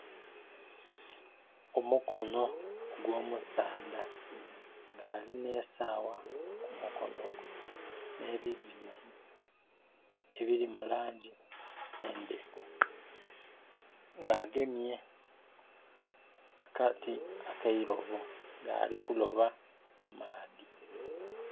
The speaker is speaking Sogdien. Omukono ogw'omusaadha nga alina esaawa ku mukono gwe n'ebiviiri ebiri mu langi enderu. Nga agemye akati ak'eilobo nga ali kuloba mu maadhi.